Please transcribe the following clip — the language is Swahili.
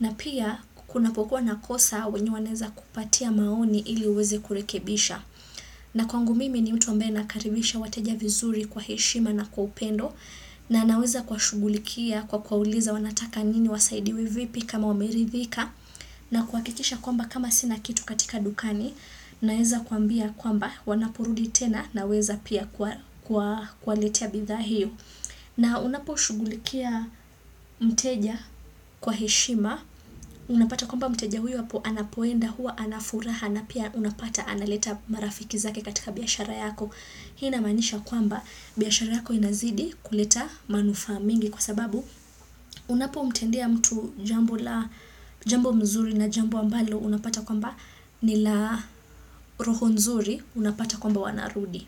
na pia kunapokuwa na kosa wenye wanaweza kupatia maoni ili uweze kurekebisha. Na kwangu mimi ni mtu ambaye nakaribisha wateja vizuri kwa heshima na kwa upendo na naweza kuwashugulikia kwa kwauliza wanataka nini wasaidiwe vipi kama wameridhika na kuhakikisha kwamba kama sina kitu katika dukani naweza kwambia kwamba wanapurudi tena naweza pia kuwaletea bidhaa hiyo na unaposhugulikia mteja kwa heshima unapata kwamba mteja huyu hapo anapoenda huwa anafuraha na pia unapata analeta marafiki zake katika biashara yako hii inamaanisha kwamba biashara yako inazidi kuleta manufaa mingi kwa sababu unapomtendea mtu jambo mzuri na jambo ambalo unapata kwamba nila roho nzuri unapata kwamba wanarudi.